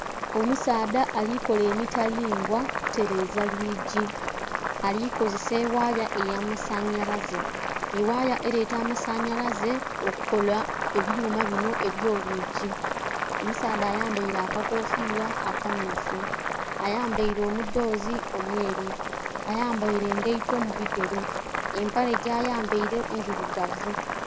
Omusaadha alikola emitalimbwa kutereza lwiigi alikozesa ewaya eyamasanyalaze, ewaya ereta amasanyalaze okola ebyuma bino ebyolwiigi. Omusaadha ayambeire akakofira akammyufu, ayambaire omudhoze omweru, ayambaire engaito mubigere empale gyayambaire ndhirugavu.